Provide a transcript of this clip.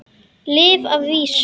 Lyf að vísu.